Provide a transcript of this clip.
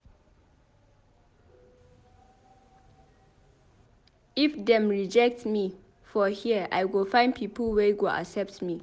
If dem rejectme for here I go find pipo wey go accept me.